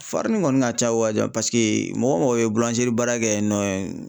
Farini kɔni ka ca wajibi paseke mɔgɔ o mɔgɔ ye baara kɛ yen nɔ